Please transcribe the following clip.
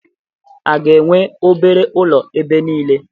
A ga-enwe obere ụlọ ebe niile?